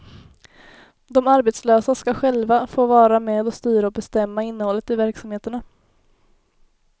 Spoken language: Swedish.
De arbetslösa skall själva få vara med och styra och bestämma innehållet i verksamheterna.